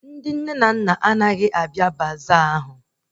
Ndị nne na nna na-abịa baza ahụ